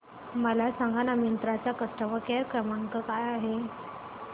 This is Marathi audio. मला सांगाना मिंत्रा चा कस्टमर केअर क्रमांक काय आहे